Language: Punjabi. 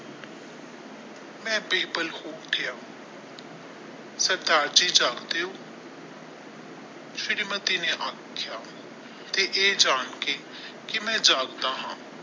ਮੈ ਬੇਪਾਲ ਹੋ ਗਿਆ ਸਰਦਾਰ ਜੀ ਜਾਗਦੇ ਹੋ ਸ਼੍ਰੀ ਮਤੀ ਨੇ ਆਖਿਆ ਤੇ ਇਹ ਜਾਣ ਕੇ ਕਿ ਅਮੀਨ ਜਾਗਦਾ ਹਾਂ।